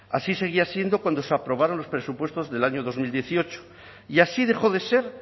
así seguía siendo cuando se aprobaron los presupuestos del año dos mil dieciocho y así dejó de ser